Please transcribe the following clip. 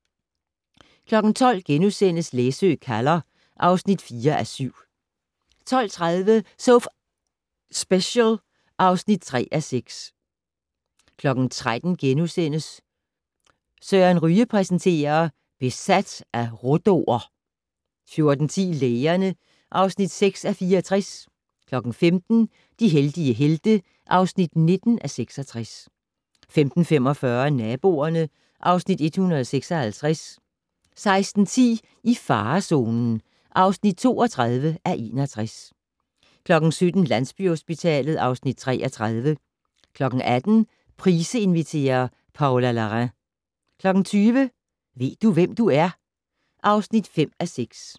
12:00: Læsø kalder (4:7)* 12:30: So F***ing Special (3:6) 13:00: Søren Ryge præsenterer: Besat af rhodo'er * 14:10: Lægerne (6:64) 15:00: De heldige helte (19:66) 15:45: Naboerne (Afs. 156) 16:10: I farezonen (32:61) 17:00: Landsbyhospitalet (Afs. 33) 18:00: Price inviterer - Paula Larrain 20:00: Ved du, hvem du er? (5:6)